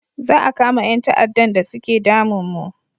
Za a kama yan ta'adan da suke damin mu